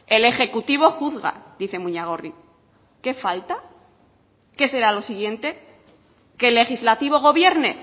el ejecutivo juzga dice muñagorri qué falta qué será lo siguiente qué el legislativo gobierne